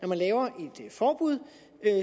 man laver et forbud